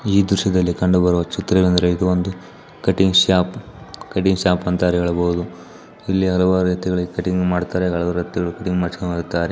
ಈ ದೃಶ್ಯದಲ್ಲಿ ಕಂಡುಬರುವ ಚಿತ್ರವೇನೆಂದರೆ ಇದು ಒಂದು ಕಟ್ಟಿಂಗ್ ಶಾಪ್ ಕಟ್ಟಿಂಗ್ ಶಾಪ್ ಅಂತಲೇ ಹೇಳಬಹುದು ಇಲ್ಲಿ ಹಲವಾರು ರೀತಿಯ ಕಟ್ಟಿಂಗ್ ಮಾಡತಾರೆ ಮಾಡ್ಸ್ಕೊಂಡ್ ಹೋಗ್ತಾರೆ.